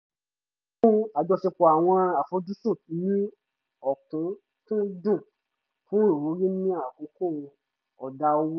a mú àjọṣepọ̀ àwọn àfojúsùn ní okúnkúndùn fún ìwúrí ni àkókò ọ̀dá owó